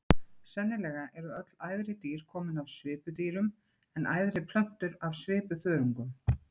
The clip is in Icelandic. Sennilega eru öll æðri dýr komin af svipudýrum en æðri plöntur af svipuþörungum.